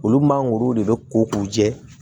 Olu mangoro de bɛ ko k'u jɛ